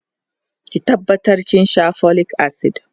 ki tabbata kin Sha folic acid!